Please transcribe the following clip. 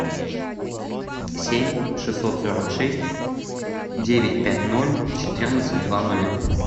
семь шестьсот сорок шесть девять пять ноль четырнадцать два нуля